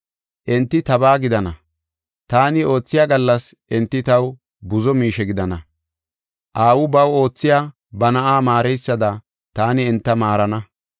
“Enti tabaa gidana; taani oothiya gallas enti taw buzo miishe gidana; aawi baw oothiya ba na7a maareysada taani enta maarana.